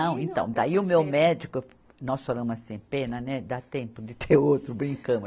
então daí o meu médico, nós falamos assim, pena né, dá tempo de ter outro, brincamos.